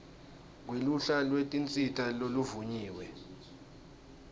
kweluhla lwetinsita loluvunyiwe